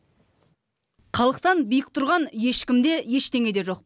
халықтан биік тұрған ешкім де ештеңе де жоқ